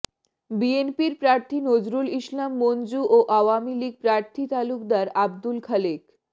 বিএনপির প্রার্থী নজরুল ইসলাম মঞ্জু ও আওয়ামী লীগ প্রার্থী তালুকদার আবদুল খালেক